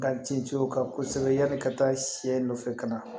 Ka ci ci u kan kosɛbɛ yanni ka taa sɛ nɔfɛ ka na